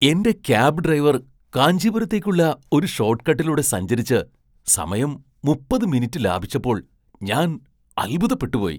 എന്റെ cab driver കാഞ്ചീപുരത്തേക്കുള്ള ഒരു ഷോട്ട് കട്ടിലൂടെ സഞ്ചരിച്ച് സമയം മുപ്പത് മിനിറ്റ് ലാഭിച്ചപ്പോൾ ഞാൻ അൽഭുതപ്പെട്ടുപോയി !